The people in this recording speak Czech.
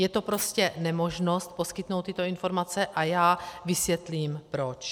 Je to prostě nemožnost poskytnout tyto informace a já vysvětlím proč.